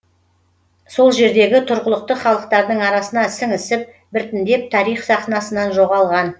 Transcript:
сол жердегі тұрғылықты халықтардың арасына сіңісіп біртіндеп тарих сахнасынан жоғалған